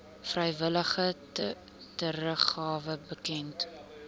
vrywillige teruggawe bekend